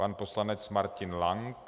Pan poslanec Martin Lank.